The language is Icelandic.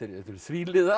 þríliða